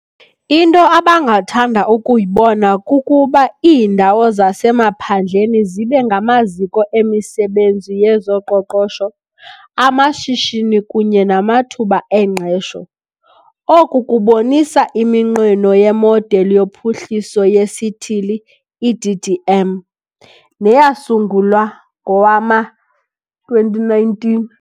Into abangathanda ukuyibona kukuba iindawo zasemaphandleni zibe ngamaziko emisebenzi yezoqoqosho, amashishini kunye namathuba engqesho. Oku kubonisa iminqweno yeModeli yoPhuhliso yeSithili, i-DDM, neyasungulwa ngowama-2019.